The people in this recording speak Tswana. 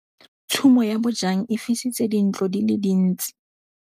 Tshumô ya bojang e fisitse dintlo di le dintsi.